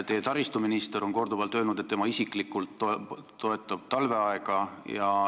Teie taristuminister on korduvalt öelnud, et tema isiklikult toetab talveaega.